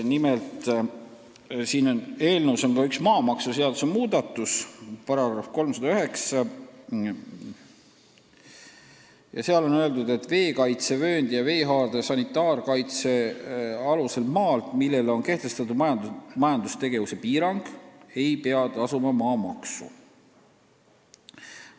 Nimelt, eelnõus on ka üks maamaksuseaduse muudatus –§ 309 – ja seal on öeldud, et veekaitsevööndi ja veehaarde sanitaarkaitseala maalt, millele on kehtestatud majandustegevuse piirang, ei pea tasuma maamaksu.